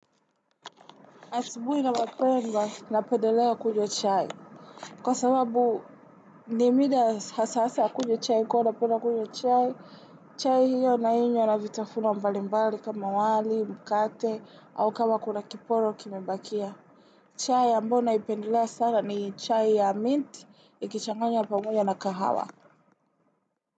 Asubuhi na mapema na pendelea kunywa chai. Kwa sababu nimida hasasa ya kunywa chai kwa naopenda kunywa chai, chai hiyo na inyww na vitafuna mbali mbali kama wali, mkate au kama kuna kiporo kimebakia. Chai ya ambao naipendelea sana ni chai ya minti, ikichanganya pamoja na kahawa.